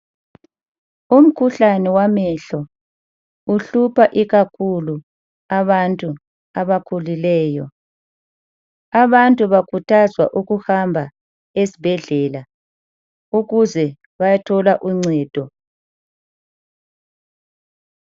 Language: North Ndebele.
Umkhuhlane wamehlo uhlupha ikakhulu abantu abakhulileyo. Abantu bakhuthazwa ukuhamba esibhedlela, ukuze bayethola uncedo.